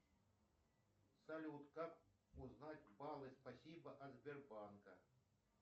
салют как узнать баллы спасибо от сбербанка